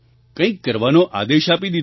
કંઈક કરવાનો આદેશ આપી દીધો છે